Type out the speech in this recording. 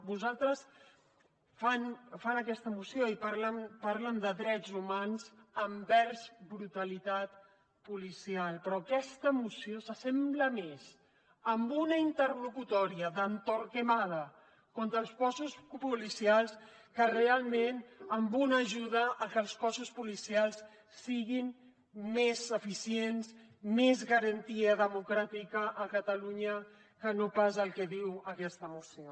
vosaltres feu aquesta moció i parleu de drets humans envers brutalitat policial però aquesta moció s’assembla més a una interlocutòria de torquemada contra els cossos policials que realment a una ajuda perquè els cossos policials siguin més eficients amb més garantia democràtica a catalunya que no pas el que diu aquesta moció